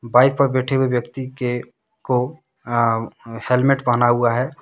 Bike पर बैठे हुए व्यक्ति के को अ हेलमेट पहना हुआ है।